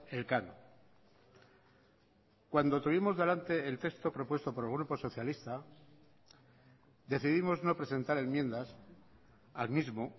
elcano cuando tuvimos delante el texto propuesto por el grupo socialista decidimos no presentar enmiendas al mismo